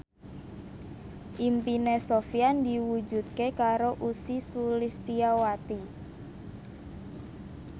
impine Sofyan diwujudke karo Ussy Sulistyawati